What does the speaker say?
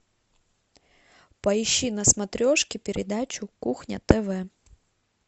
поищи на смотрешке передачу кухня тв